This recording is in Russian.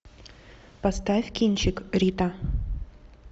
поставь кинчик рита